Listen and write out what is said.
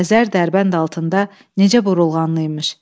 Xəzər Dərbənd altında necə burulğanlı imiş.